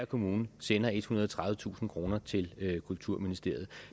kommune tjener ethundrede og tredivetusind kroner til kulturministeriet